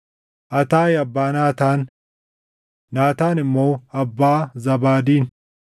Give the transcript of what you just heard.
Ataayi abbaa Naataan; Naataan immoo abbaa Zaabaadin;